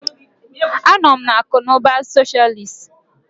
Anọ m na akụ na ụba socialist.